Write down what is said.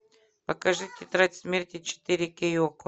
покажи тетрадь смерти четыре кей окко